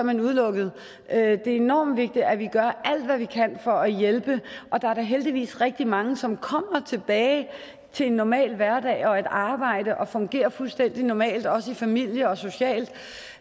man udelukket det er enormt vigtigt at vi gør alt hvad vi kan for at hjælpe og der er da heldigvis rigtig mange som kommer tilbage til en normal hverdag og et arbejde og fungerer fuldstændig normalt også i familien og socialt